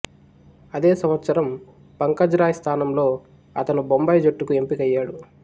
అదే సంవత్సరం పంకజ్ రాయ్ స్థానంలో అతను బొంబాయి జట్టుకు ఎంపికయ్యాడు